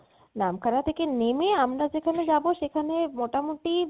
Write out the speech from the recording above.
নামখানা থেকে নেমে আমরা যেখানে যাবো সেখানে মোটামোটি